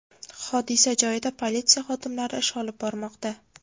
Hodisa joyida politsiya xodimlari ish olib bormoqda.